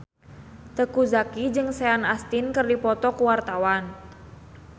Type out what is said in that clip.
Teuku Zacky jeung Sean Astin keur dipoto ku wartawan